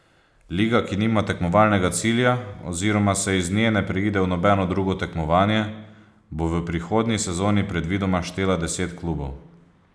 Liga, ki nima tekmovalnega cilja oziroma se iz nje ne preide v nobeno drugo tekmovanje, bo v prihodnji sezoni predvidoma štela deset klubov.